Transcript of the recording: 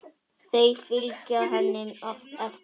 Þau fylgja henni eftir.